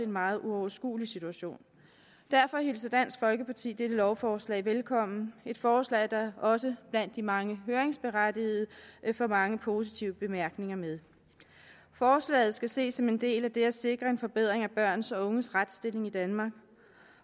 meget uoverskuelig situation derfor hilser dansk folkeparti dette lovforslag velkommen et forslag der også blandt de mange høringsberettigede får mange positive bemærkninger med forslaget skal ses som en del af det at sikre en forbedring af børns og unges retsstilling i danmark